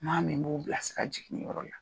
Maa min b'u bilasira jiginniyɔrɔ la